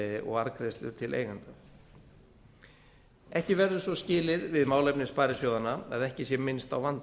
og arðgreiðslur til eigenda ekki verður svo skilið við málefni sparisjóðanna að ekki sé minnst á vanda